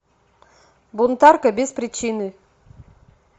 бунтарка без причины